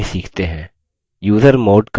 usermod command